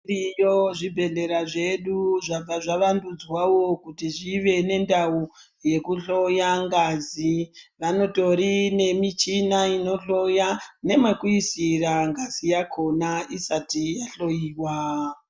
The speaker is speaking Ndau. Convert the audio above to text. Zvibhedhlera zvedu zvabva zvavandudzwawo kuti zvive nendau yekuhloya ngazi vanotorine michina inohloya nemekuisira ngazi yakhona isati yahloiwa.